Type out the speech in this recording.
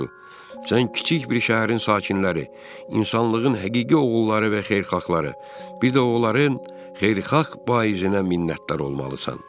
Sən kiçik bir şəhərin sakinləri, insanlığın həqiqi oğulları və xeyirxahları, bir də oğulların xeyirxah Vaizinə minnətdar olmalısan.